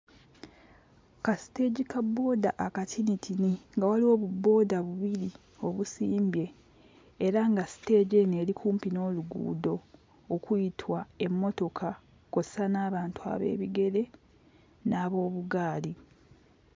Ka siteegi ka booda akatinitini nga waliwo bu booda bubiri obusimbye era nga siteegi eno eri kumpi n'oluguudo okuyitwa emmotoka kw'ossa n'abantu ab'ebigere n'ab'obugaali.